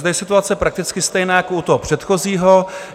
Zde je situace prakticky stejná jako u toho předchozího.